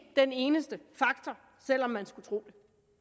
den eneste faktor selv om man skulle tro det